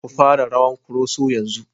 Ku fara rawan Koroso yanzu!